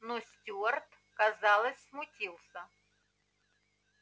но стюарт казалось смутился